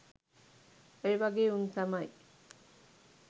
ඔය වගෙ උන් තමයි